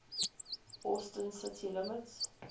austin city limits